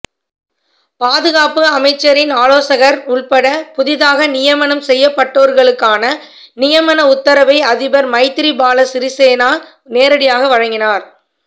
பாதுகாப்பு அமைச்சரின் ஆலோசகர் உள்பட புதியதாக நியமனம் செய்யப்பட்டோர்களுக்கான நியமன உத்தரவை அதிபர் மைத்ரி பால சிறிசேன நேரடியாக வழங்கினார்